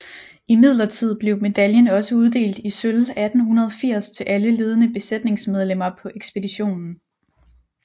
Imidlertid blev medaljen også uddelt i sølv 1880 til alle ledende besætningsmedlemmer på ekspeditionen